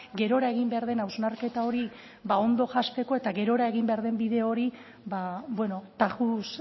gerora egin behar den hausnarketa hori ba ondo jazteko eta gerora egin behar den bide hori ba bueno tajuz